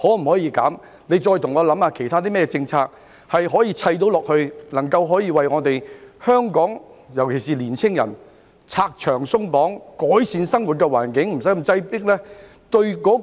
我再請局長想一想，可引入甚麼其他政策，為我們香港人"拆牆鬆綁"，改善生活環境，免得那麼擠迫？